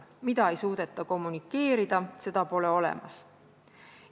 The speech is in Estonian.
Mida ei suudeta kommunikeerida, seda pole olemas.